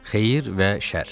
Xeyir və şər.